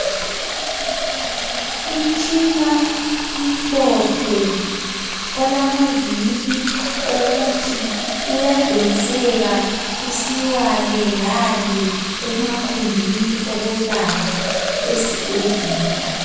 Umtshina omhlophe olamavili owokuthi uyadonseka usiyalelale emagumbini okuyelapha esibhedlela